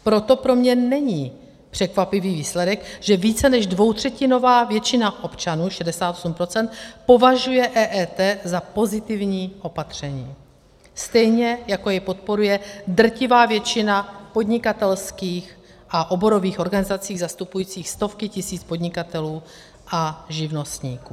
Proto pro mě není překvapivý výsledek, že více než dvoutřetinová většina občanů, 68 %, považuje EET za pozitivní opatření, stejně jako jej podporuje drtivá většina podnikatelských a oborových organizací zastupujících stovky tisíc podnikatelů a živnostníků.